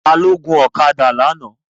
Ta ló gbé ọ̀kadà lánàá?